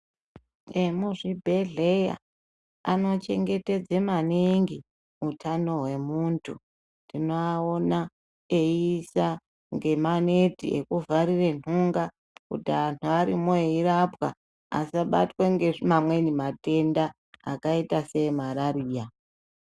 Emuzvibhedhleya anochengetedze maningi utano hwemuntu. Tinoawona eiisa ngemaneti ekuvharire ntunga kuti anhu arimwo eirapwa asabatwa ngemamweni matenda akaita seemarariya.